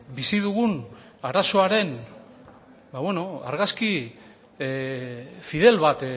bizi dugun arazoaren argazki fidel bat